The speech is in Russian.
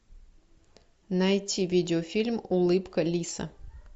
найти видеофильм улыбка лиса